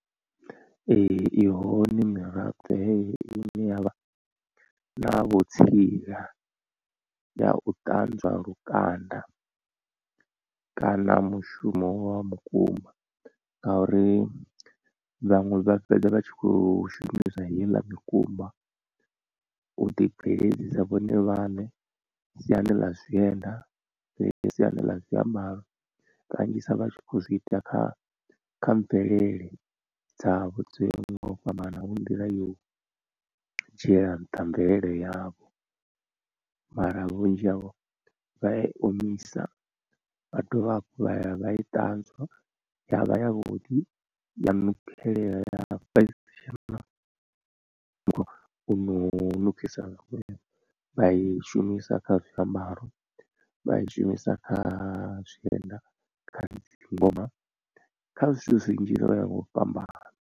Ee i hone miraḓo heyi ine yavha na vhutsila ya u ṱanzwa lukanda kana mushumo wa mukumba, ngauri vhaṅwe vha fhedza vha tshi kho shumisa heiḽa mikumba u ḓi bveledzisa vhone vhaṋe siani ḽa zwienda, siani ḽa zwiambaro kanzhisa vha tshi kho zwiita kha kha mvelele dzavho dzo yaho nga u fhambana hu nḓila yo u dzhiela nṱha mvelele yavho. Mara vhunzhi havho vha ya i omisa vha dovha hafhu vha ya vha i ṱanzwa ya vha yavhuḓi ya nukhela u no nukhisa vhukuma vha i shumisa kha zwiambaro, vha i shumisa kha zwienda, kha dzi ngoma kha zwithu zwinzhi zwo yaho nga u fhambana.